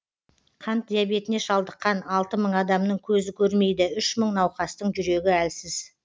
қант диабетіне шалдыққан алты мың адамның көзі көрмейді үш мың науқастың жүрегі әлсіз